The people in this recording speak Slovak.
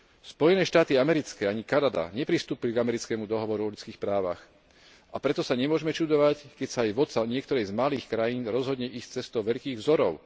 Spojené štáty americké ani Kanada nepristúpili k Americkému dohovoru o ľudských právach, a preto sa nemôžeme čudovať, keď sa vodca niektorej z malých krajín rozhodne ísť cestou veľkých vzorov.